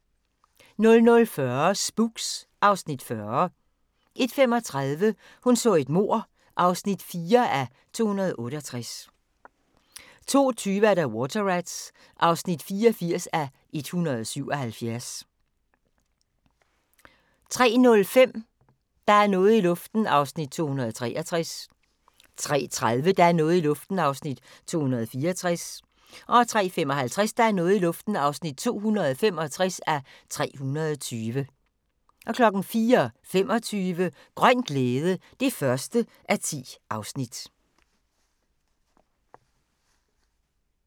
00:40: Spooks (Afs. 40) 01:35: Hun så et mord (4:268) 02:20: Water Rats (84:177) 03:05: Der er noget i luften (263:320) 03:30: Der er noget i luften (264:320) 03:55: Der er noget i luften (265:320) 04:25: Grøn glæde (1:10)